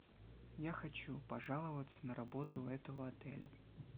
я хочу пожаловаться на работу этого отеля